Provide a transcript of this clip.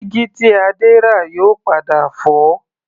Dígí tí Adé rà yóò padà fọ́